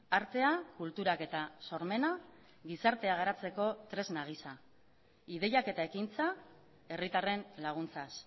artea kulturak eta sormena gizartea garatzeko tresna gisa ideiak eta ekintza herritarren laguntzaz